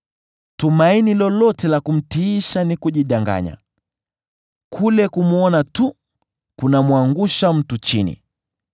Tumaini lolote la kumtiisha ni kujidanganya; kule kumwona tu kunamwangusha mtu chini.